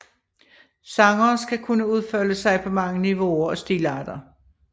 Sangere skal kunne udfolde sig på mange niveauer og stilarter